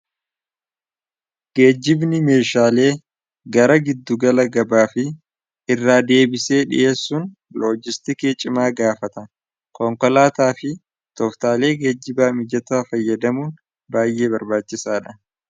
Geejjibni meeshaalee gara giddugala gabaa fi irraa deebisee dhiheessuun loojistikee cimaa gaafata konkolaataa fi tooftaalee geejjibaa mijataa fayyadamuun baay'ee barbaachisaa dha.